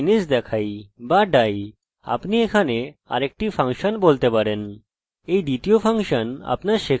এটি mysql error শুধু এইভাবে বন্ধনী রাখুন এবং যখন i dont exist রেখে পৃষ্ঠা রিফ্রেশ করি